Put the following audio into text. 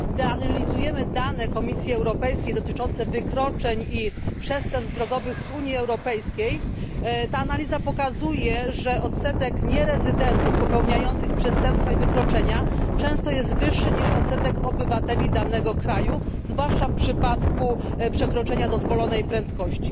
Gdy analizujemy dane Komisji Europejskiej dotyczące wykroczeń i przestępstw drogowych z Unii Europejskiej, ta analiza pokazuje, że odsetek nierezydentów popełniających przestępstwa i wykroczenia często jest wyższy niż odsetek obywateli danego kraju, zwłaszcza w przypadku przekroczenia dozwolonej prędkości.